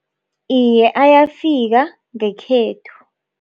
Iye, ayafika ngekhethu.